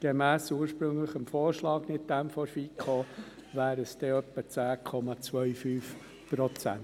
Gemäss dem ursprünglichen Vorschlag der FiKo wären es etwa 10,25 Prozent.